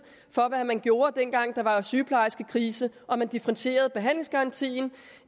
for hvad man gjorde dengang der var sygeplejerskekrise og man differentierede behandlingsgarantien